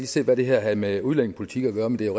se hvad det havde med udlændingepolitik at gøre men det er